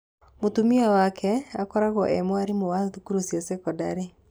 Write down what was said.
Mũtumia wake akoragũo e mwarimu wa thukuru cia thekondarĩ.